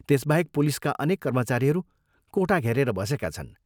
त्यसबाहेक पुलिसका अनेक कर्मचारीहरू कोठा घेरेर बसेका छन्।